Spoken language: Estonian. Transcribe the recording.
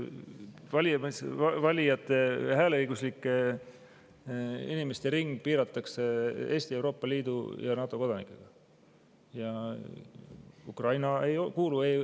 Valijate, hääleõiguslike inimeste ring piiratakse Eesti, Euroopa Liidu ja NATO kodanikega.